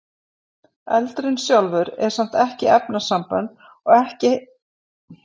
Eldurinn sjálfur er samt ekki efnasambönd og heldur ekki frumeindir eða sameindir.